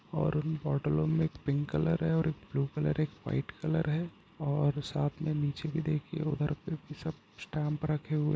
और उन बोटलो में एक पिंक कलर है और एक ब्लू कलर एक व्हाइट कलर है और साथ में नीचे भी देखिये और उधर भी सब स्टैंप रखे हुए --